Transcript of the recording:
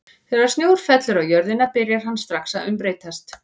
Þegar snjór fellur á jörðina byrjar hann strax að umbreytast.